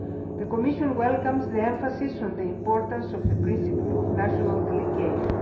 The Commission welcomes the emphasis placed on the importance of the principle of national delegation.